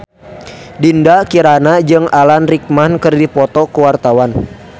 Dinda Kirana jeung Alan Rickman keur dipoto ku wartawan